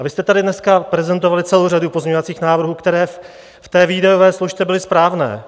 A vy jste tady dneska prezentovali celou řadu pozměňovacích návrhů, které v té výdajové složce byly správné.